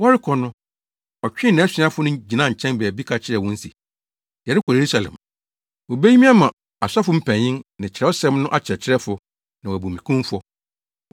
Wɔrekɔ no, ɔtwee nʼasuafo no gyinaa nkyɛn baabi ka kyerɛɛ wɔn se, “Yɛrekɔ Yerusalem. Wobeyi me ama asɔfo mpanyin ne kyerɛwsɛm no akyerɛkyerɛfo, na wɔabu me kumfɔ.